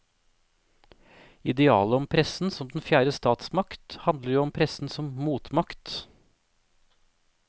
Idealet om pressen som den fjerde stasmakt handler jo om pressen som motmakt.